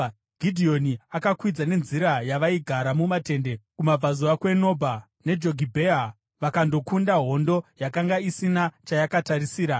Gidheoni akakwidza nenzira yavaigara mumatende kumabvazuva kweNobha neJogibheha vakandokunda hondo yakanga isina chayakatarisira.